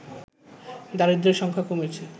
দারিদ্রের সংখ্যা কমেছে